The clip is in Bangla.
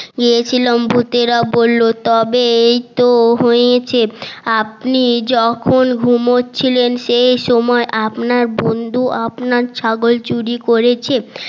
গিয়েছিলাম ভুতেরা বললো তবে এইতো হয়েছে আপনি যখন ঘুমচ্ছিলেন সে সময়ে আপনার বন্ধু আপনার ছাগল চুরি করেছে